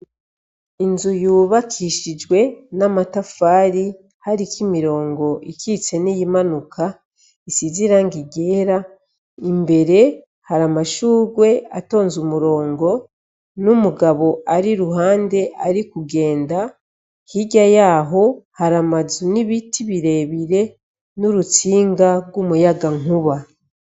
Inzu yubakishijwe n'amatafari hariko imirongo ikitse n'iyimanuka isizira ngo igera imbere hari amashurwe atonze umurongo n'umugabo ari ruhande ari kugenda hirya yaho hari amazu n'ibiti rebire n'urutsinga rw'umuyaga nkuba.